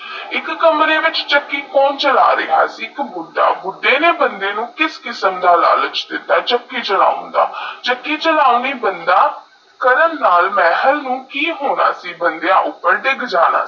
ਇਕ ਕਮਰੇ ਵਿਚ ਚੱਕੀ ਕੋਨ ਚਲਾ ਰਿਹਾ ਸੀ ਇਕ ਬੁੱਡਾ ਬੁੱਦੇ ਨੇਈ ਬੰਦੇ ਨੂੰ ਕਿਸ ਕਿਸਮ ਦਾ ਲਾਲਚ ਦਿੱਤਾ ਚਕੀ ਚਲੋਨਾ ਦਾ ਚੱਕੀ ਚਲੋਂ ਬੰਦਾ ਕੀ ਹੋਣਾ ਸੀ ਮਹਲ ਬੰਦਿਆ ਉਠੇ ਦੇਗ ਜਾਣਾ ਹੀ